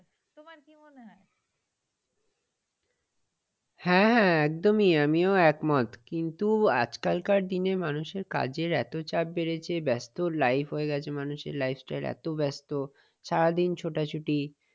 হ্যাঁ হ্যাঁ একদমই। আমিও একমত কিন্তু আজকাল কার দিনে মানুষের কাজের এত চাপ বেড়েছে ব্যস্ত life হয়ে গেছে মানুষের lifestyle এত ব্যস্ত, সারাদিন ছোটাছটি।